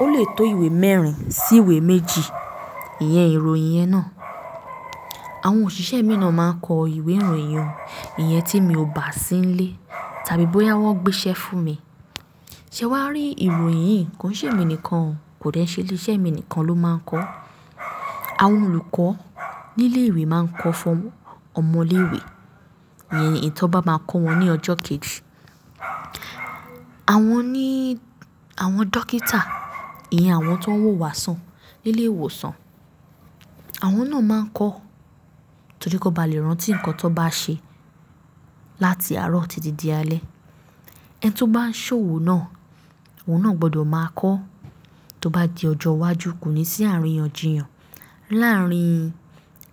ó lè tó ìwé mẹ́rin sí ìwé méjì, ìyẹn ìròyìn yẹn náà. Àwọn òṣìṣẹ́ mi náà máa ń kọ ìwé ìròyìn o, iyen tí mi ò bá sí nílé tàbí bóyá wọ́n gbé iṣẹ́ fún mi. Ṣé wà á rí ìròyìn yìí, kò n se emi nìkan o, kò dẹ́ n ṣẹ́ ile iṣẹ́ mi nìkan ló máa ń kọ. Àwọn olùkọ́ nílé ìwé máa ń kọ fún ọmọ ilé ìwé, ìyẹn nkan ti won bá máa kọ́ wọn ní ọjọ́ kejì. Àwọn ní, àwọn dókítà, ìyẹn àwọn ti woń wò wá sàn nílé ìwòsàn, àwọn náà máa ń kọ torí ki won ba lè rántí nǹkan ti won bá ṣe láti àárọ̀ títí di alé. Ẹni tó bá n ṣòwò náà, òun náà gbọdọ̀ máa kọ tó bá di ọjọ́ iwájú, kò ní sí àríyànjiyàn láárín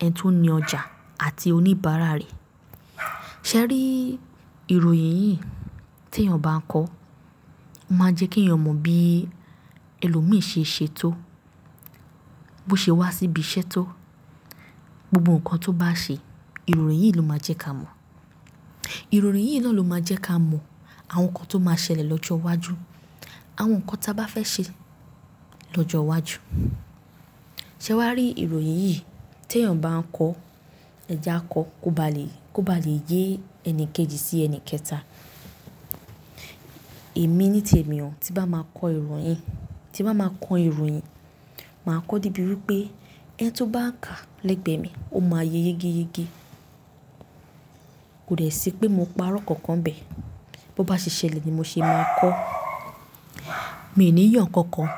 ẹni tó ní ọjà àti oníbàárà rẹ̀. Ṣé ẹ rí ìròyìn yìí tí èèyàn bá kọ Ó máa ń jẹ́ kí èèyàn mọ bí ẹlòmíì ṣe ṣe to, bó ṣe wá síbi iṣẹ́ tó, gbogbo nǹkan tó bá ṣe, ìròyìn yìí ló máa jẹ́ ká mọ̀. Ìròyìn yìí náà ló máa jẹ́ ká mọ àwọn nǹkan tó máa ṣẹlẹ̀ lọ́jọ́ iwájú, àwọn nǹkan tí a bá fẹ́ ṣe lọ́jọ́ iwájú. Ṣé wà á rí ìròyìn yìí tí èèyàn bá ń kọ̀? Ẹ je ki a kọ kó ba lè, kó ba lè yé ẹni kejì sí ẹni kẹta. Èmi nítẹ̀mi i, tí n bá máa kọ ìròyìn, tí n bá máa kọ ìròyìn, màá kọ́ debi wipe ẹni tó bá kà lẹ́gbẹ̀ mi, ó máa yé yégéyegé. Kò dẹ́ ṣì pé mo parọ́ kankan bẹ́ẹ̀, bó bá ṣe ṣẹlẹ̀ ni mo ṣe máa kọ́. Mi ò ní yo nkankan,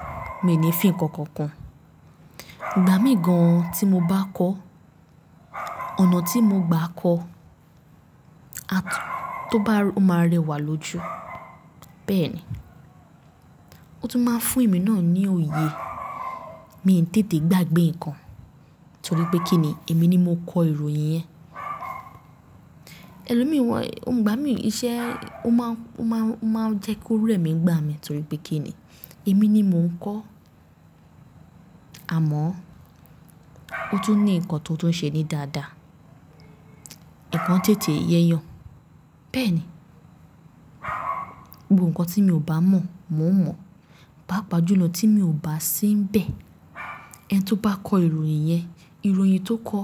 mi ò ní fì nkankan kun Ìgbà míì gan-an tí mo bá kọ, ọ̀nà tí mo gbà kọ, a tó bá, ó máa rẹwà lójú. Bẹ́ẹ̀ ni. Ó tún máa ń fún èmi náà ní òye, mii n tètè gbàgbé nǹkan torí pé kíni? Èmi ni mo kọ ìròyìn yẹn. Ẹlòmíì wọ́n, òun igbà mí iṣẹ́, ó máa, ó máa, ó máa jẹ́ kó rẹ́ mi nigbà mí torí pé kí ni? Èmi ni mò ń kọ́. Àmọ́ ó tún ní nǹkan tó tún ṣe ní dáadáa, nǹkan tètè ye eeyan. Bẹ́ẹ̀ ni. Gbogbo nǹkan tí mi ò bá mọ̀, mò ń mọ̀. Paapa julọ, tí mi ò bá sí níbẹ̀, ẹni tó bá kọ ìròyìn yẹn, ìròyìn tó kọ,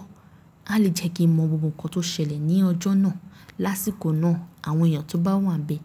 a lè jẹ́ kí n mọ gbogbo nǹkan tó ṣẹlẹ̀ ní ọjọ́ náà, lásìkò náà, àwọn èèyàn tó bá wà níbẹ̀.